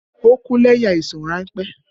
Ó kú lẹ́yìn àìsàn ránpẹ́